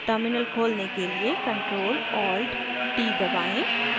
terminal खोलने के लिए ctrl + alt + t दबाएँ